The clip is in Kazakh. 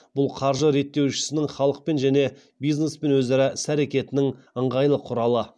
бұл қаржы реттеушісінің халықпен және бизнеспен өзара іс әрекетінің ыңғайлы құралы